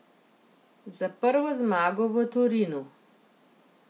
Za prvo zmago v Torinu ...